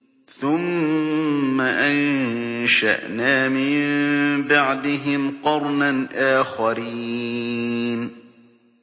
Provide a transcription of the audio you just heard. ثُمَّ أَنشَأْنَا مِن بَعْدِهِمْ قَرْنًا آخَرِينَ